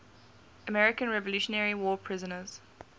american revolutionary war prisoners